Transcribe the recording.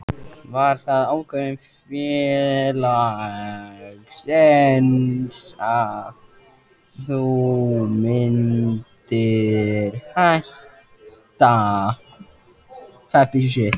Var það ákvörðun félagsins að þú myndir hætta?